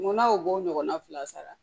Munna o b'o ɲɔgɔnna fila sara